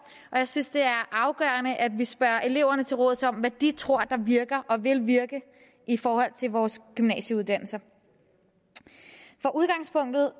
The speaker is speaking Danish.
og jeg synes at det er afgørende at vi spørger eleverne til råds om hvad de tror der virker og vil virke i forhold til vores gymnasieuddannelser for udgangspunktet